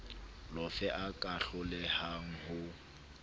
lofe a ka hlolehang ho